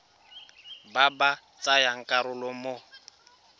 ba ba tsayang karolo mo